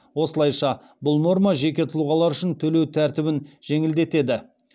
осылайша бұл норма жеке тұлғалар үшін төлеу тәртібін жеңілдетеді